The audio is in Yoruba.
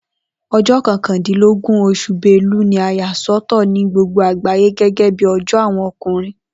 O̩jó̩ ko̩kàndínlógún os̩ù Belu ni a yà sò̩tò̩ ni gbogbo àgbàyé gé̩́gé̩ bí o̩jó̩ àwo̩n o̩kùnrin